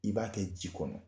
I b'a kɛ ji kɔnɔ